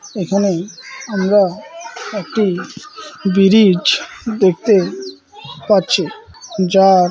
এখানে আমরা একটি বিরিজ দেখতে পাচ্ছি যার--